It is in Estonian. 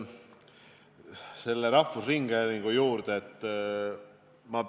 Kõigepealt tulen rahvusringhäälingu teema juurde.